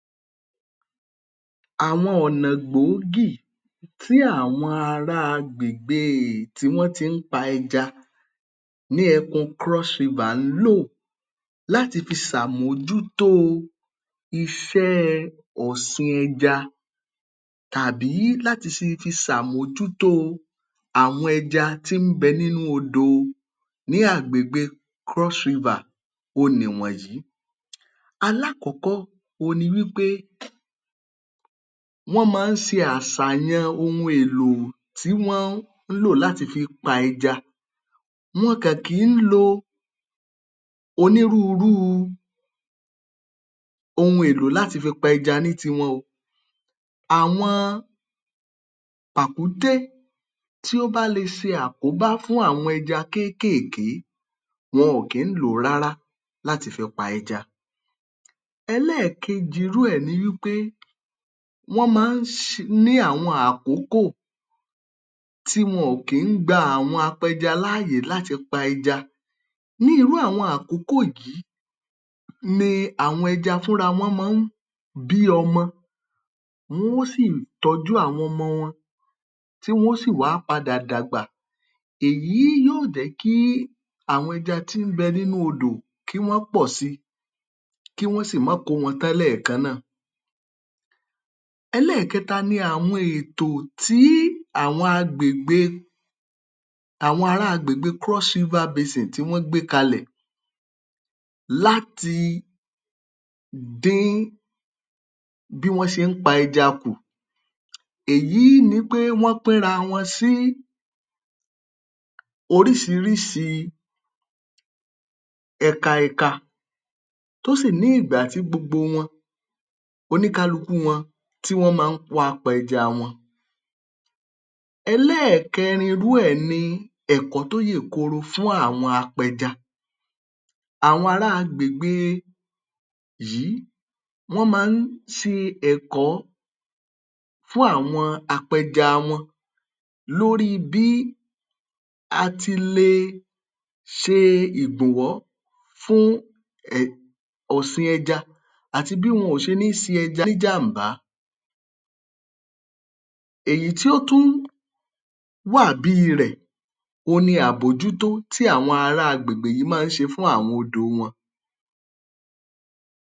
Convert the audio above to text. Àwọn ọ̀nà gbòógì tí àwọn ará agbègbè tí wọ́n ti ń pa ẹja ní ẹkun Cross-river ń lò láti si sàmójútó iṣẹ́ ọ̀sìn ẹja tàbí láti fi sàmójútó àwọn ẹja tí ń bẹ nínú odò ní agbègbè Cross-river òhun nì wọ̀nyíl Alákọ̀ọ́kọ́ òhun ni wí pé wọ́n mọ-ọ́n ń ṣe àsàyàn ohun èlò tí wọ́n ń lò láti fi pa ẹja. Wọn kàn kì ń lo onírúurú ohun èlò láti fi pa ẹja ní tiwọn o. Àwọn pàkúté tó bá le ṣe àkóbá fún àwọn ẹja kékéèké wọn ò kí ń lò ó rárá láti fi pa ẹja. Ẹlẹ́ẹ̀kejì irú ẹ̀ ni wí pé wọ́n máa ń ní àwọn àkókò tí wọ̀n ò kí ń gba àwọn apẹja láàyè láti pa ẹja. Ní irú àwọn àkókò yìí ni àwọn ẹja fúnra wọ́n mọ ń bí ọmọ. Wọ́n ó sì tọ́jú àwọn ọmọ wọn, tí wọ́n ó sì wá padà dàgbà. Èyí yíó jẹ́ kí àwọn ẹja tí nh bẹ nínú odò kí wọ́n pọ̀ sí i, kí wọ́n sì má kó wọn tán lẹ́ẹ̀kan náà. Ẹlẹ́ẹ̀kẹta ni àwọn ètò tí àwọn ara agbègbe Cross River Basin tí wọ́n gbé kalẹ̀ láti dín bí wọ́n ṣe ń pa ẹja kù. Èyí ni pé wọ́n pínra wọn sih oríṣiríṣi ẹkaẹka tó sì ní ìgbà tí gbogbo wọn oníkálukú wọn tí wọ́n máa ń wá pa ẹja wọn. Ẹlẹ́ẹ̀kẹrin irú ẹ̀ ni ẹ̀kọ́ tó yèkoro fún àwọn apẹja. Àwọn ara agbègbè yìí wọ́n máa ń ṣe ẹ̀kọ́ fún àwọn apẹja wọn lórí bí a ti le ṣe ìbùnwọ́ ọ̀sìn ẹja àti bí wọn ò ṣe ní se ẹja ní jàm̀bá. Èyí tí ó tún wà bí i rẹ̀ òhun ni àbójútó tí àwọn ara agbègbè yìí máa ń ṣe fún àwọn odò wọn